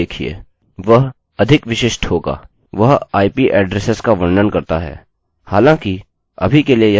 हालाँकिअभी के लिए यह एक बुनियादी काउन्टर ट्यूटोरियल है और यह डेटाबेस स्टोरेज की अपेक्षा फाइल स्टोरेज इस्तेमाल करता है